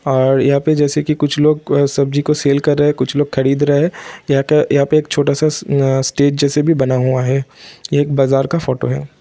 और यहां पर जैसे कि कुछ लोग सब्जी को सेल कर रहे हैं और कुछ लोग खरीद रहे हैं| यहाँ का यहाँ पे एक छोटा-सा अ-अ स्टेज जैसा भी बना हुआ है| एक बाजार का फोटो है।